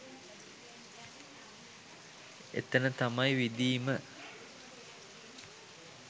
එතන තමයි විඳීම